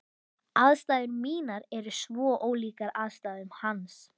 Aðstæður mínar eru svo ólíkar aðstæðum hans.